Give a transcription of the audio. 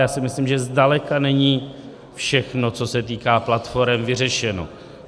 Já si myslím, že zdaleka není všechno, co se týká platforem, vyřešeno.